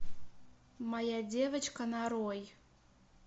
моя девочка нарой